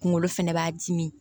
Kunkolo fɛnɛ b'a dimi